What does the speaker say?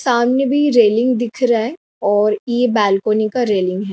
सामने भी रेलिंग दिख रहा है और यह बालकनी का रेलिंग है।